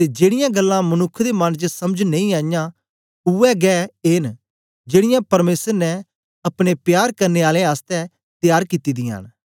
ते जेड़ीयां गल्लां मनुक्ख दे मन च समझ नेई आईयां उवै गै ऐ न जेड़ीयां परमेसर ने अपने प्यार करने आलें आसतै त्यार कित्ती दियां न